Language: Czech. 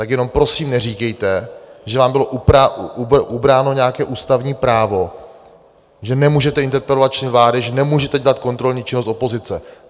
Tak jenom prosím neříkejte, že vám bylo ubráno nějaké ústavní právo, že nemůžete interpelovat členy vlády, že nemůžete dělat kontrolní činnost opozice.